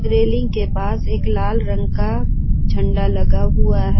Railing के पास एक लाल रंग का झंडा लगा हुआ है।